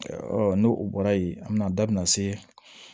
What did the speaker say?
n'o bɔra yen an bɛ na da min na se